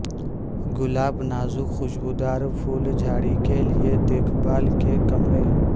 گلاب نازک خوشبودار پھول جھاڑی کے لئے دیکھ بھال کے کمرے